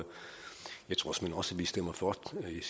jeg tror såmænd også at vi stemmer for